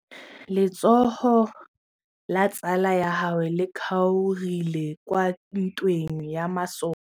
Letsôgô la tsala ya gagwe le kgaogile kwa ntweng ya masole.